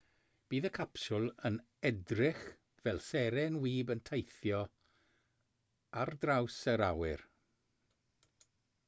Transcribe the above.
bydd y capsiwl yn edrych fel seren wib yn teithio ar draws yr awyr